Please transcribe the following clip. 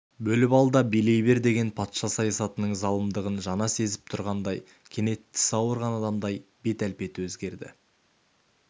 бөліп ал да билей бер деген патша саясатының залымдығын жаңа сезіп тұрғандай кенет тісі ауырған адамдай бет-әлпеті өзгерді